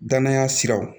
Danaya siraw